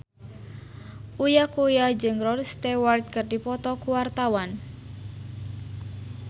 Uya Kuya jeung Rod Stewart keur dipoto ku wartawan